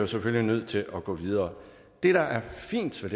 selvfølgelig nødt til at gå videre det der er fint ved